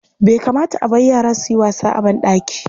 Bai kamata a bar yara su yi wasa a banɗaki.